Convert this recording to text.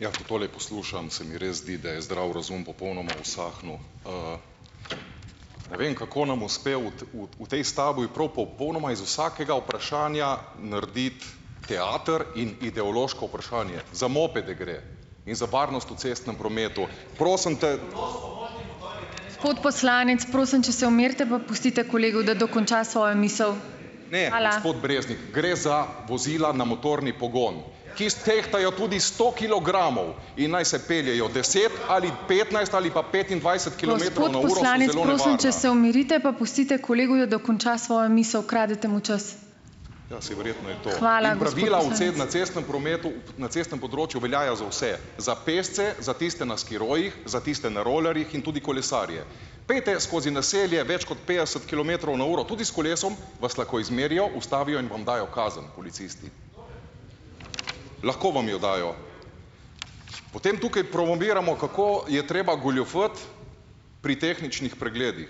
Ja, ko tole poslušam, se mi res zdi, da je zdrav razum popolnoma usahnil. Ne vem, kako nam uspe, v tej stavbi prav popolnoma iz vsakega vprašanja narediti teater in ideološko vprašanje. Za moped gre in za varnost v cestnem prometu. Prosim te. Gre za vozila na motorni pogon, tudi sto kilogramov, se umirite pa pustite kolegu, da dokonča svojo misel. Kradete mu čas. Na cestnem področju veljajo za vse, za pešce, za tiste na skirojih, za tiste na rolerjih in tudi kolesarje. Pojdite skozi naselje več kot petdeset kilometrov na uro. Tudi s kolesom vas lahko izmerijo, ustavijo in vam dajo kazen, policisti. Lahko vam jo dajo. Potem tukaj promoviramo, kako je treba goljufati pri tehničnih pregledih.